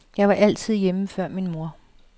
Jeg var altid hjemme før min mor.